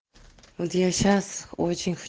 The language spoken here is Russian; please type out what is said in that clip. вот я сейчас очень х